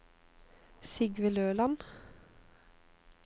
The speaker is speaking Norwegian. Sigve Løland